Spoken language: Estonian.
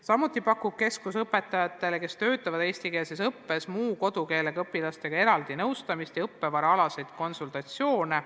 Samuti pakub keskus õpetajatele, kes annavad tunde eesti keeles muu kodukeelega õpilastele, eraldi nõustamist ja õppevaraalaseid konsultatsioone.